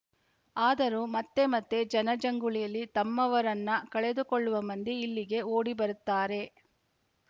ಆದರೂ ಮತ್ತೆಮತ್ತೆ ಜನಜಂಗುಳಿಯಲ್ಲಿ ತಮ್ಮವರನ್ನ ಕಳೆದುಕೊಳ್ಳುವ ಮಂದಿ ಇಲ್ಲಿಗೆ ಓಡಿ ಬರುತ್ತಾರೆ